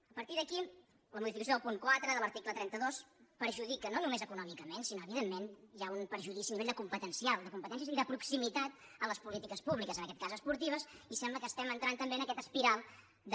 a partir d’aquí la modificació del punt quatre de l’article trenta dos perjudica no només econòmicament sinó que evi·dentment hi ha un perjudici a nivell competencial de competències i de proximitat en les polítiques públi·ques en aquest cas esportives i sembla que estem en·trant també en aquesta espiral de